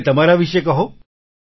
મને તમારા વિશે કહો